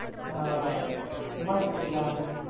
હા, મસ્ત plan છે.